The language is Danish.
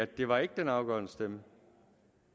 det var ikke den afgørende stemme